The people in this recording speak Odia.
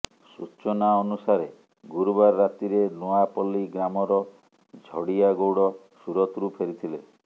ସୂଚନାଅନୁସାରେ ଗୁରୁବାର ରାତିରେ ନୁଆଁପଲ୍ଲୀ ଗ୍ରାମର ଝଡିଆ ଗୌଡ଼ ସୁରତ ରୁ ଫେରିଥିଲେ